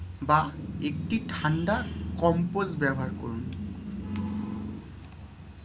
বা একটি ঠান্ডা compress ব্যবহার করুন।